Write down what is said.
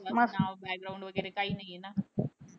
त्याचं नाव background वगैरे काही नाहीये ना.